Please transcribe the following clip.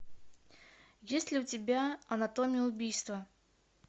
есть ли у тебя анатомия убийства